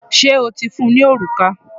Ṣé o ti fún un ní òrùka?